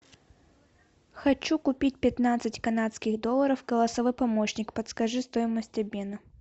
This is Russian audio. хочу купить пятнадцать канадских долларов голосовой помощник подскажи стоимость обмена